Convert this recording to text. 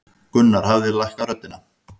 Gunnar hafði lækkað röddina.